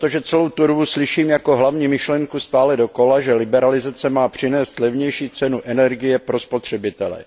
Protože celou dobu slyším jako hlavní myšlenku stále dokola, že liberalizace má přinést levnější cenu energie pro spotřebitele.